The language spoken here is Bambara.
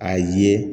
A ye